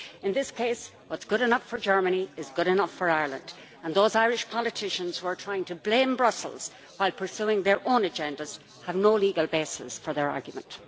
In this case, what is good enough for Germany is good enough for Ireland, and those Irish politicians who are trying to blame Brussels while pursuing their own agendas have no legal basis for their argument.